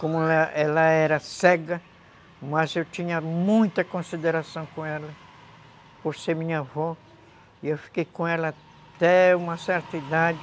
Como ela era cega, mas eu tinha muita consideração com ela, por ser minha avó, e eu fiquei com ela até uma certa idade,